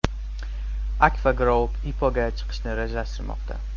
AKFA Group IPO‘ga chiqishni rejalashtirmoqda.